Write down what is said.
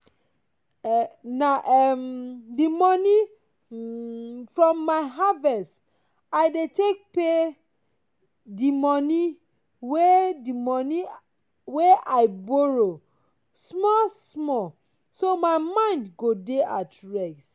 na um the moni um from my harvest i dey take pay the moni wey moni wey i borrow small small so my mind go dey at rest.